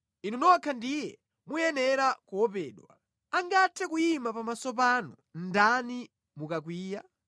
Inu nokha ndiye muyenera kuopedwa. Angathe kuyima pamaso panu ndani mukakwiya?